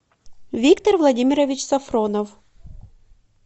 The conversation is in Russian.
виктор владимирович сафронов